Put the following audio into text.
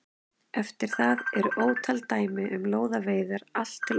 Eftir það eru ótal dæmi um lóðaveiðar allt til okkar tíma.